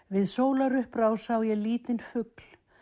við sólarupprás sá ég lítinn fugl